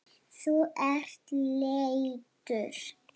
Þú ert léttur.